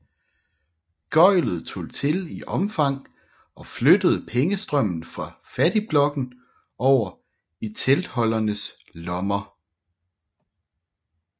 Gøglet tog til i omfang og flyttede pengestrømmen fra fattigblokken over i teltholdernes lommer